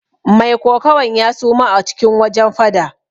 Mai kokawan ya suma a cikin wajen fada.